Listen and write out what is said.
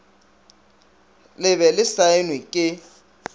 le be le saenwe ke